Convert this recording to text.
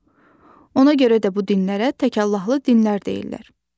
Ona görə də bu dinlərə təkallahlı dinlər deyirlər.